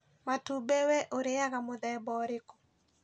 Matumbĩ we ũrĩaga mũthemba ũrĩkũ